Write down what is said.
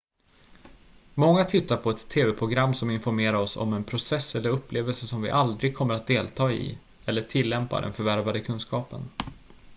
många tittar på ett tv-program som informerar oss om en process eller upplevelse som vi aldrig kommer att delta i eller tillämpa den förvärvade kunskapen